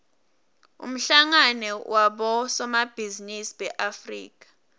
umhlangano wabosomabhizinisi beafrika